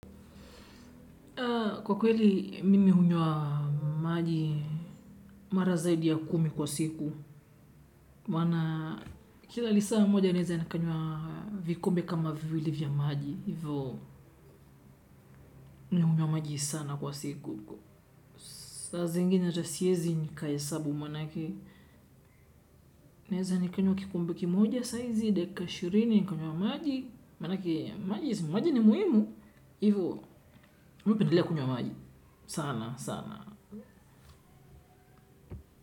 Kwa kweli, mimi hunywa maji mara zaidi ya kumi kwa siku. Maana kila lisaa moja, naeza nikanywa vikombe kama viwili vya maji. Hivyo, nukunywa maji sana kwa siku. Saa zingine hata siezi nikahesabu, manake, naeza nikanywa kikombe kimoja saa hizi, dakika ishirini, nikanywa maji. Maneke, maji ni muhimu. Hivyo, mimi hupendelea kunywa maji. Sana, sana.